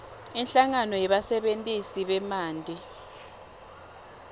inhlangano yebasebentisi bemanti